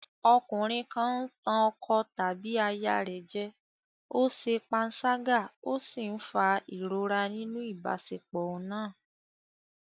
Ọkùnrin kan ń tàn ọkọ tàbí aya rẹ̀ jẹ, ó ṣe panṣágà ó sì ń fa ìrora nínú ìbáṣepọ̀ náà.